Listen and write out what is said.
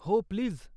हो, प्लीज.